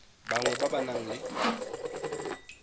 bangwe ba ba nang le